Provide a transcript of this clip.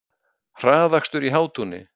Hraðakstur í Hátúni